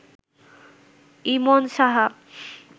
Emon Saha